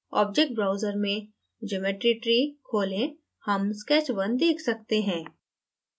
object browser में geometry tree खोलें हम sketch _ 1 देख सकते हैं